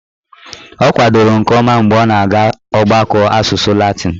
Ọ kwadoro nke ọma mgbe ọ na-aga ọgbakọ asụsụ latịn